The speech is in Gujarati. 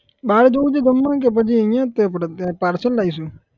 બાર જઉં છે જમવા કે પછી અહીંયા જ આપડે parcel લાઈશું?